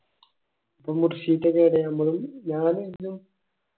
എടാ മുർഷിദ്